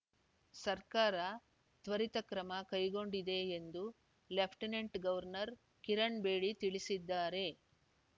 ಸರ್ಕಾರ ತ್ವರಿತ ಕ್ರಮ ಕೈಗೊಂಡಿದೆ ಎಂದು ಲೆಫ್ಟಿನೆಂಟ್‌ ಗವರ್ನರ್‌ ಕಿರಣ್‌ ಬೇಡಿ ತಿಳಿಸಿದ್ದಾರೆ